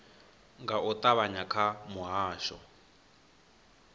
nga u ṱavhanya kha muhasho